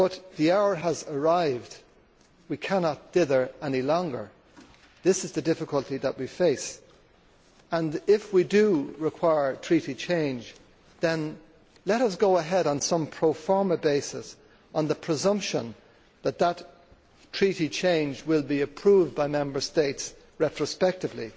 The hour has arrived and we cannot dither any longer. This is the difficulty that we face and, if we do require Treaty change, then let us go ahead on some pro forma basis on the presumption that that Treaty change will be approved by Member States retrospectively.